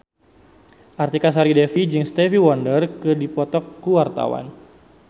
Artika Sari Devi jeung Stevie Wonder keur dipoto ku wartawan